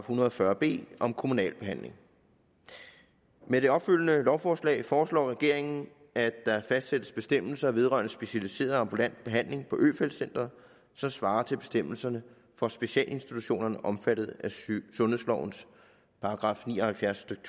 hundrede og fyrre b om kommunal behandling med det opfølgende lovforslag foreslår regeringen at der fastsættes bestemmelser vedrørende specialiseret ambulant behandling på øfeldt centret som svarer til bestemmelserne for specialinstitutionerne omfattet af sundhedslovens § ni og halvfjerds stykke